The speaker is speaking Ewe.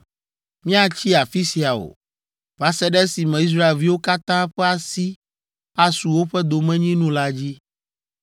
Míatsi afi sia o, va se ɖe esime Israelviwo katã ƒe asi asu woƒe domenyinu la dzi.